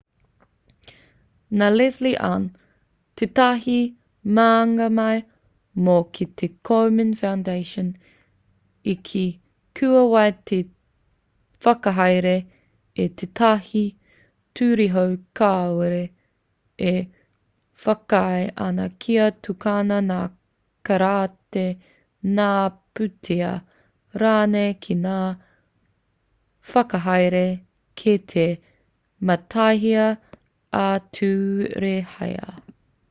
nā leslie aun tētahi māngai mō te komen foundation i kī kua whai te whakahaere i tētahi ture hou kāore e whakaae ana kia tukuna ngā karāti ngā pūtea rānei ki ngā whakahaere kei te mātaihia ā-turehia